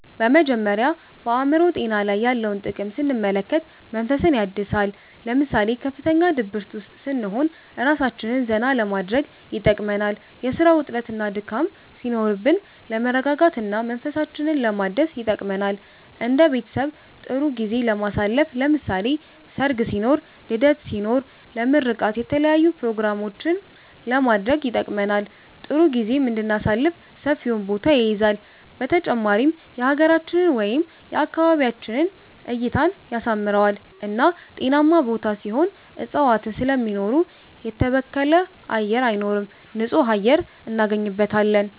በመጀመሪያ በአእምሮ ጤና ላይ ያለውን ጥቅም ስንመለከት መንፈስን ያድሳል ለምሳሌ ከፍተኛ ድብርት ውስጥ ስንሆን እራሳችንን ዘና ለማድረግ ይጠቅመናል የስራ ውጥረትና ድካም ሲኖርብን ለመረጋጋት እና መንፈሳችንን ለማደስ ይጠቅመናል እንደ ቤተሰብ ጥሩ ጊዜ ለማሳለፍ ለምሳሌ ሰርግ ሲኖርብን ልደት ሲኖር ልደት ለምርቃት የተለያዪ ኘሮግራሞችንም ለማድረግ ይጠቅመናል ጥሩ ጊዜም እንድናሳልፍ ሰፊውን ቦታ ይይዛል በተጨማሪም የሀገራችንን ወይም የአካባቢያችንን እይታን ያሳምረዋል እና ጤናማ ቦታ ሲሆን እፅዋትን ስለሚኖሩ የተበከለ አየር አይኖርም ንፁህ አየር እናገኝበታለን